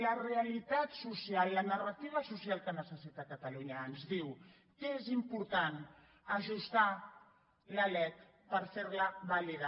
la realitat social la narrativa social que necessita catalunya ens diu que és important ajustar la lec per ferla vàlida